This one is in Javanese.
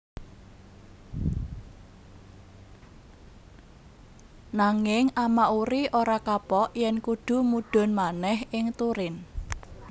Nanging Amauri ora kapok yèn kudu mudhun manèh ing Turin